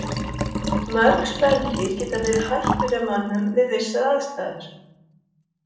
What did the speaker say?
Mörg spendýr geta verið hættuleg mönnum við vissar aðstæður.